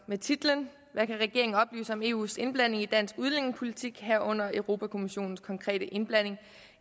med titlen hvad kan regeringen oplyse om eus indblanding i dansk udlændingepolitik herunder europa kommissionens konkrete indblanding